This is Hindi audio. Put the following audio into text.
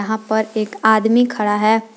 यहाँ पर एक आदमी खड़ा है।